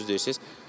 Onu düz deyirsiz.